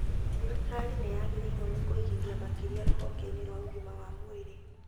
Thirikari nĩyagĩrĩirwo nĩ kũigithia makĩria rũhonge-inĩ rwa ũgima wa mwĩrĩ